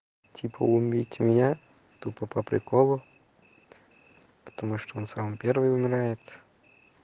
типа убить меня тупо по приколу потому что он сам первый умирает